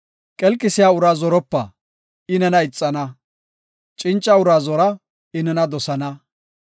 Qelqisiya uraa zoropa; I nena ixana; cinca uraa zora; I nena dosana.